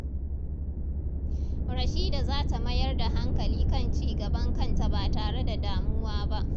Rashida za ta mayar da hankali kan cigaban kanta ba tare da damuwa ba.